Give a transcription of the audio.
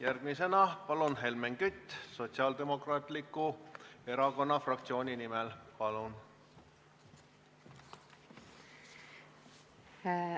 Järgmisena, palun, Helmen Kütt Sotsiaaldemokraatliku Erakonna fraktsiooni nimel!